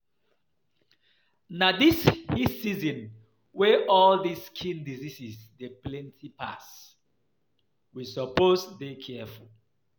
Na this heat season wey all dis skin disease dey plenty pass, we suppose dey careful